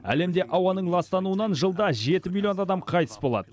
әлемде ауаның ластануынан жылда жеті миллион адам қайтыс болады